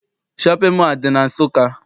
Shọpịn mọọ adị na Nsụka?